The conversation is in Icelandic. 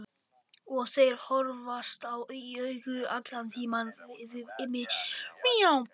Og þeir horfast í augu allan tímann vinirnir.